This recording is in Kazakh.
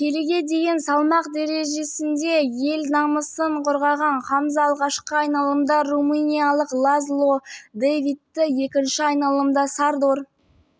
келіге дейінгі салмақ дрежесінде ел намысын қорғаған хамза алғашқы айналымда румыниялық лазло дэвидті екінші айналымда сардор